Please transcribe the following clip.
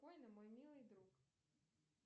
мой милый друг